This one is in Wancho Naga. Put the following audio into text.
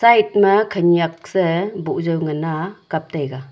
ma khenyak sae boh jaw ngan a kap taiga.